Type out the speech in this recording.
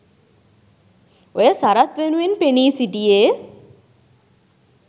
ඔය සරත් වෙනුවෙන් පෙනී සිටියේ